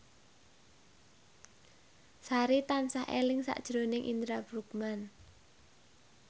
Sari tansah eling sakjroning Indra Bruggman